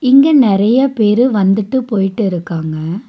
இங்க நெறைய பேரு வந்துட்டு போயிட்டு இருக்காங்க.